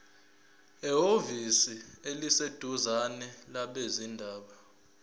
ehhovisi eliseduzane labezindaba